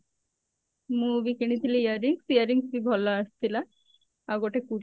ମୁଁ ବି କିଣିଥିଲି earrings earrings ବି ଭଲ ଆସିଥିଲା ଆଉ ଗୋଟେ kurti